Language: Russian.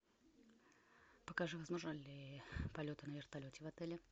покажи возможны ли полеты на вертолете в отеле